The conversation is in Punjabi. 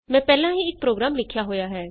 ਮੈਂ ਪਹਿਲਾਂ ਹੀ ਇਕ ਪ੍ਰੋਗਰਾਮ ਲਿਖਿਆ ਹੋਇਆ ਹੈ